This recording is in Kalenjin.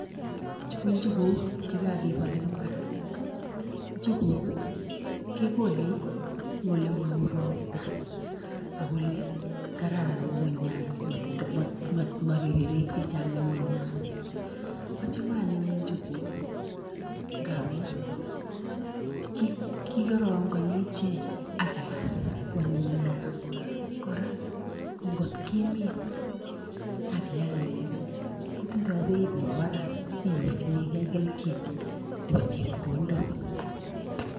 Chu ko njuguuk chekakipal eng mbar njuguuk kekole ing olemao ropta akoele kararan ng'ung'unyat maripe peek chechang ng'ung'unyat achame anyun njuguuk ngamun kikarangani ichek akeam koanyiny nea, kora ngotkimin akialde kotindoi peit nebo parak inyorchinigei kelchin nepo chepkondok.